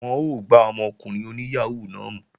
Wọ́n ó gbá ọmọkùnrin oní yàhóó náà mú